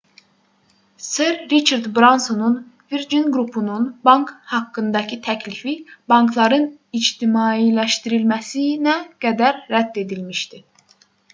ser riçard bransonun virgin qrupunun bank haqqındakı təklifi bankların ictimailəşdirilməsinə qədər rədd edilmişdi